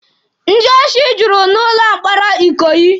Ndị osi jụrụ n'ụlọ mkpọrọ Ikoyi.